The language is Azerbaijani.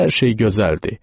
Hər şey gözəl idi.